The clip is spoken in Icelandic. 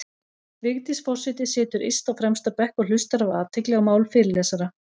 Vigdís forseti situr yst á fremsta bekk og hlustar af athygli á mál fyrirlesara.